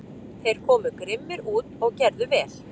Þeir komu grimmir út og gerðu vel.